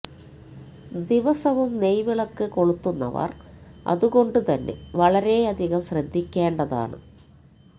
ദിവസവും നെയ് വിളക്ക് കൊളുത്തുന്നവര് അതുകൊണ്ട് തന്നെ വളരെയധികം ശ്രദ്ധിക്കേണ്ടതാണ്